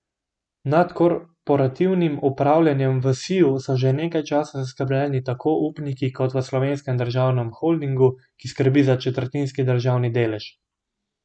Nad korporativnim upravljanjem v Siju so že nekaj časa zaskrbljeni tako upniki kot v Slovenskem državnem holdingu, ki skrbi za četrtinski državni delež.